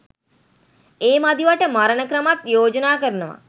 ඒ මදිවට මරන ක්‍රමත් යෝජනා කරනවා